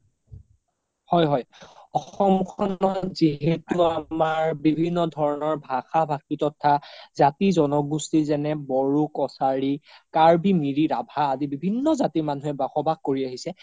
হয় হয় অসমখনত যিহেতো আমাৰ বিভিন্ন ধৰণৰ ভাষা ভাষি তথা জাতি জনগুস্তি যেনে বড়ো-কছাৰী কাৰ্বি মিৰি ৰাভা আদি বিভিন্ন জাতিৰ মানুহে বোস বাস কৰি আহিছে